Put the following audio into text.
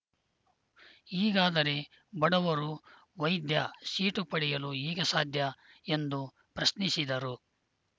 ಹೀಗಾದರೆ ಬಡವರು ವೈದ್ಯ ಸೀಟು ಪಡೆಯಲು ಹೇಗೆ ಸಾಧ್ಯ ಎಂದು ಪ್ರಶ್ನಿಸಿದರು